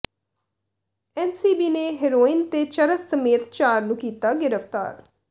NCB ਨੇ heroin ਤੇ ਚਰਸ ਸਮੇਤ ਚਾਰ ਨੂੰ ਕੀਤਾ ਗਿ੍ਫ਼ਤਾਰ